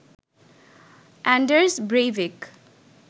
Anders Breivik